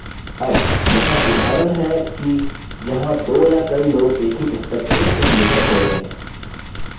अब यहाँ उदाहरण हैं कि जहाँ दो या कई लोग एक ही पुस्तक के सहलेखक होते हैं